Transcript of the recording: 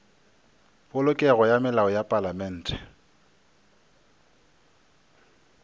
polokego ga melao ya palamente